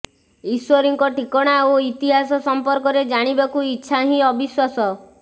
ଈଶ୍ୱରୀଙ୍କ ଠିକଣା ଓ ଇତିହାସ ସଂପର୍କରେ ଜାଣିବାକୁ ଇଛା ହିଁ ଅବିଶ୍ୱାସ